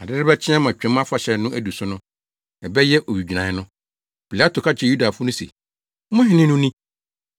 Ade rebɛkye ama Twam Afahyɛ no adu so no, ɛbɛyɛ owigyinae no. Pilato ka kyerɛɛ Yudafo no se, “Mo hene no ni!”